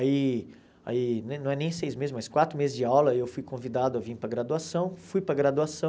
Aí aí, não é não é nem seis meses, mas quatro meses de aula, eu fui convidado a vir para a graduação, fui para a graduação.